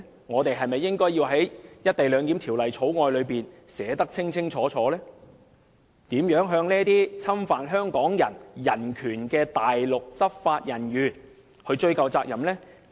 我們是否應在《條例草案》中清楚訂明，如何向這些侵犯香港人人權的內地執法人員追究責任呢？